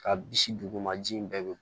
Ka bisi dugu ma ji in bɛɛ bi